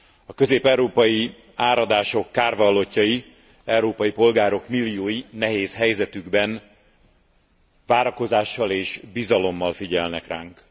A közép európai áradások kárvallottjai, európai polgárok milliói nehéz helyzetükben várakozással és bizalommal figyelnek ránk.